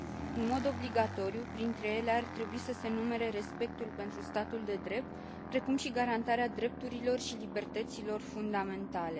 În mod obligatoriu, printre ele ar trebui să se numere respectul pentru statul de drept, precum și garantarea drepturilor și libertăților fundamentale.